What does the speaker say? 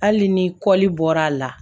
Hali ni kɔli bɔra a la